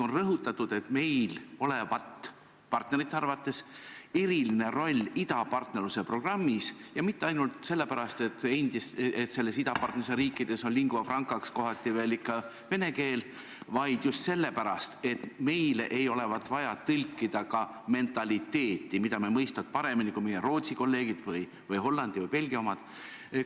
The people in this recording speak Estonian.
On rõhutatud, et meil olevat partnerite arvates eriline roll idapartnerluse programmis, ja mitte ainult sellepärast, et idapartnerluse riikides on lingua franca'ks kohati veel ikka vene keel, vaid just sellepärast, et meile ei olevat vaja tõlkida ka mentaliteeti, me mõistvat seda paremini kui meie Rootsi kolleegid või Hollandi või Belgia omad.